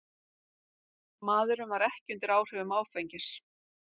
Maðurinn var ekki undir áhrifum áfengis